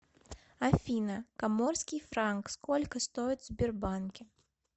афина коморский франк сколько стоит в сбербанке